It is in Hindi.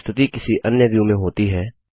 जब प्रस्तुति किसी अन्य व्यू में होती है